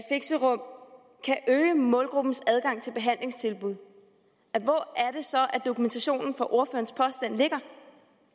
øge målgruppens adgang til behandlingstilbud hvor er det så at dokumentationen for ordførerens påstand ligger